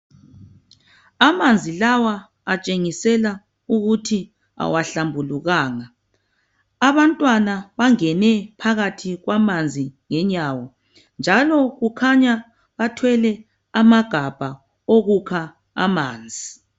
Amanzi lawa akutshengisela ukuthi awahlambulukanga. Abantwana bangene phakathi kwamanzi ngenyawo, njalo kukhanya bathwele amagabha okukha amanzi.